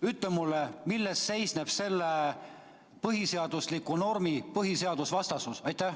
Ütle mulle, milles seisneb selle põhiseadusliku normi põhiseadusvastasus.